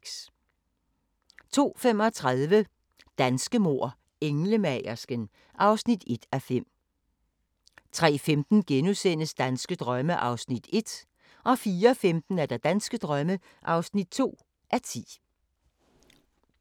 02:35: Danske mord: Englemagersken (1:5) 03:15: Danske drømme (1:10)* 04:15: Danske drømme (2:10)